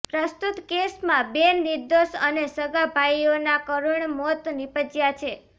પ્રસ્તુત કેસમાં બે નિર્દોષ અને સગા ભાઇઓના કરૂણ મોત નીપજયા છે